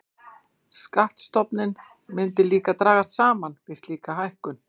Skattstofninn myndi því dragast saman við slíka hækkun.